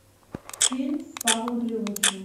фильм с павлом прилучным